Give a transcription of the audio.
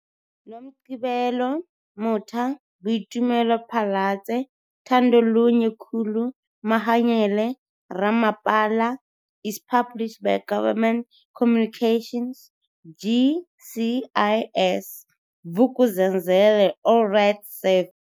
Nomgcibelo Motha, Boitumelo PhalatseThandolunye Khulu, Mahanyele Ramapalais published by Government Communications, GCIS, Vuk'uzenzeleAll rights reserved.